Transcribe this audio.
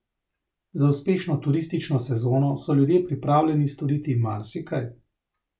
Za uspešno turistično sezono so ljudje pripravljeni storiti marsikaj.